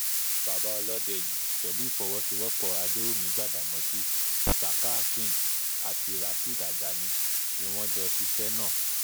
bàbá ọlọ́dẹ yìí pẹ̀lú ìfọwọ́sowọ́pọ̀ adẹwùmí gbadádámàsì saka akeem àti rasheed ajani ni wọ́n jọ ṣiṣẹ́ náà